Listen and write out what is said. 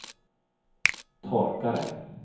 torkare